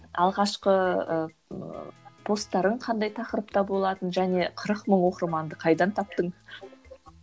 алғашқы ы постарың қандай тақырыпта болатын және қырық мың оқырманды қайдан таптың